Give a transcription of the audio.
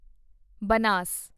Banas